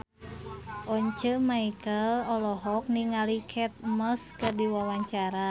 Once Mekel olohok ningali Kate Moss keur diwawancara